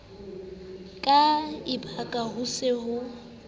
ka ekaba ho se ho